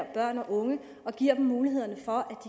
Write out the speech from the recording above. børn og unge og giver dem mulighederne for